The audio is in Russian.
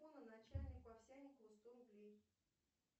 начальнику овсянникову сто рублей